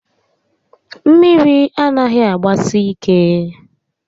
Mmiri anaghị agbasi ike